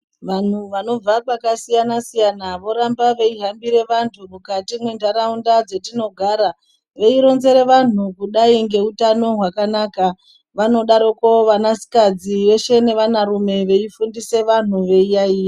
Vanhu vanobva kwakasiyanasiyana voramba veihambire vantu mukati mwenharaunda dzatinogara veironzere vanhu kudai ngeutano hwakanaka vanodaroko vanakadzi veshe nevanarume veifundise vanhu veiyayiya.